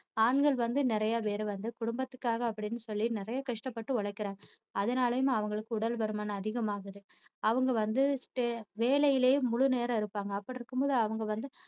ஆண்கள் வந்து நிறைய பேர் வந்து குடும்பத்துக்காக அப்படின்னு சொல்லி நிறைய கஷ்டப்பட்டு உழைக்கிறாங்க அதனாலயும் அவங்களுக்கு உடல்பருமன் அதிகமாகுது. அவங்க வந்து வேளையிலேயே முழுநேரம் இருப்பாங்க அப்படி இருக்கும் போது அவங்க வந்து